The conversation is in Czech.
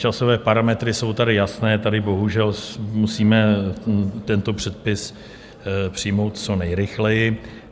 Časové parametry jsou tady jasné, tady bohužel musíme tento předpis přijmout co nejrychleji.